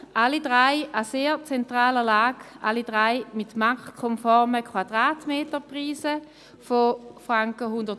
Es befinden sich alle drei an sehr zentraler Lage, die Quadratmeterpreise sind bei allen drei marktkonform: